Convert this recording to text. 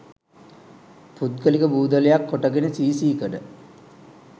පුද්ගලික බූදලයක් කොටගෙන සී සී කඩ